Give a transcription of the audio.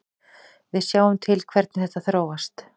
Við sjáum til hvernig þetta þróast.